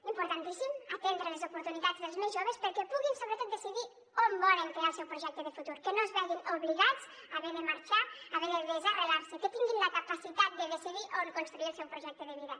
importantíssim atendre les oportunitats dels més joves perquè puguin sobretot decidir on volen crear el seu projecte de futur que no es vegin obligats a haver de marxar a haver de desarrelar se i que tinguin la capacitat de decidir on construir el seu projecte de vida